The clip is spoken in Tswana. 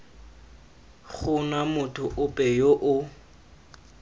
gona motho ope yo o